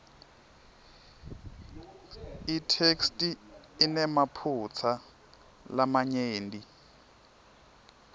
itheksthi inemaphutsa lamanyenti